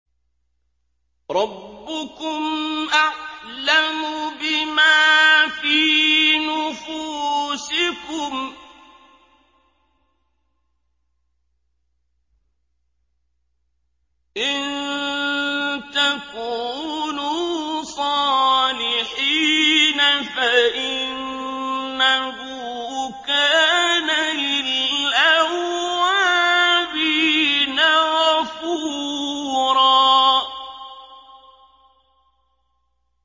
رَّبُّكُمْ أَعْلَمُ بِمَا فِي نُفُوسِكُمْ ۚ إِن تَكُونُوا صَالِحِينَ فَإِنَّهُ كَانَ لِلْأَوَّابِينَ غَفُورًا